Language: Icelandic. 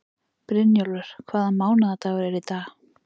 Brynjólfur, hvaða mánaðardagur er í dag?